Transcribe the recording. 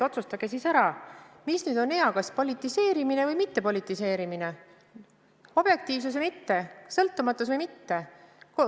Otsustage siis ära, mis on hea, kas politiseerimine või mittepolitiseerimine, objektiivsus või mitte, sõltumatus või mitte.